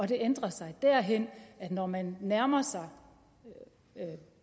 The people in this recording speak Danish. det ændrer sig derhen at når man nærmer sig